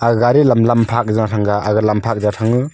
gari lam lamphak jaw thanga aga lamphak ja thangu.